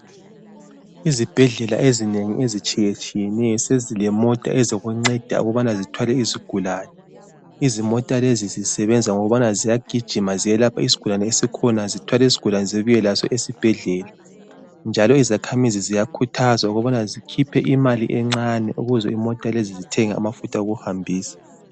Izibhedlela ezinengi ezitshiyetshiyeneyo sezilemota ezinceda ukubana zithwale izigulane. Izimota lezi zisebenza ngokubana ziyagijima ziyelapha isigulane esikhona, zithwale isigulane zibuye laso esibhedlela. Njalo izakhamizi ziyakhuthazwa ukubana zikhiphe imali encane ukuze imota lezi zithenge amafutha okuhambisa.